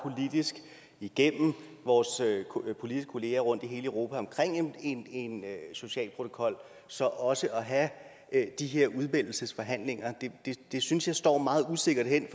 politisk igennem vores politiske kolleger rundt i hele europa om en social protokol så også at have de her udmeldelsesforhandlinger det synes jeg står meget usikkert hen